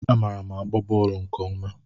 Amaara m agba bọọlu nke ọma.